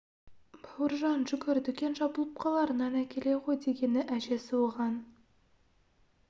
бауыржан жүгір дүкен жабылып қалар нан әкеле ғой дегені әжесі оған